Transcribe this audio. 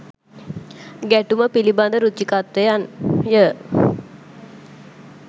ගැටුම පිළිබඳ රුචිකත්වයන්ය